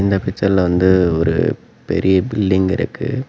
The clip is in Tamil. இந்த பிச்சர்ல வந்து ஒரு பெரிய பில்டிங் இருக்கு.